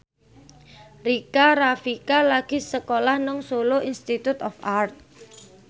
Rika Rafika lagi sekolah nang Solo Institute of Art